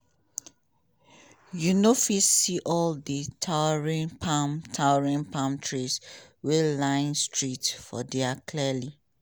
you no fit see all di towering palm towering palm trees wey line streets for dia clearly.